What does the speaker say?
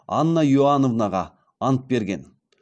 анна иоановнаға ант берген